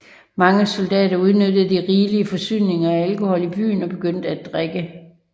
Mange soldater udnyttede de rigelige forsyninger af alkohol i byen og begyndte at drikke